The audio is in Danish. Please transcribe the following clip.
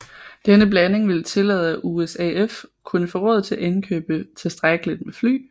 Denne blanding ville tillade at USAF kunne få råd til at indkøbe tilstrækkeligt med fly